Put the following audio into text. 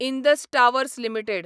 Indus Towers limited